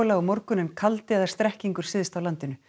á morgun en kaldi eða strekkingur syðst á landinu